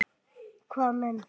Hvaða menn?